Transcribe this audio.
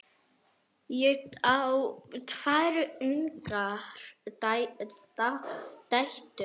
Ég á tvær ungar dætur.